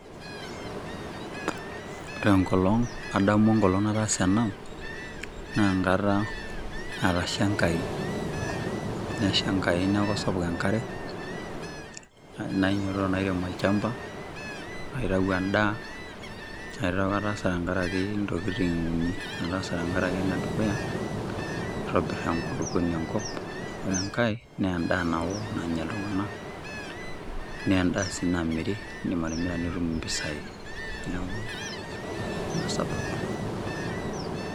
Adamu enkolong nataasa ena naa enkata Natasha enkai nesha enkai neeku sapuk enkare nainyiototo nairem olchamba naitayu endaa neeku ataasa tenkaraki intokitin. Ataasa tenkaraki enedukuya keitobir enkulupuoni enkop enkae na endaa nao nanya iltunganak naa endaa si namiri idim atimira nitumie impisai neeku ina sababu.